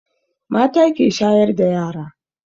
Mata ke shayar da yara